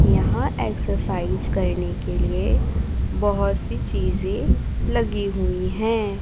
यहां एक्सरसाइज करने के लिए बहोत सी चीजें लगी हुई है।